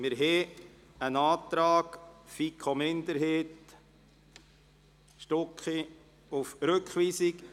Wir haben einen Antrag FiKo-Minderheit/Stucki auf Rückweisung.